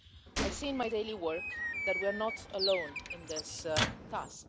I see in my daily work that we are not alone in this task.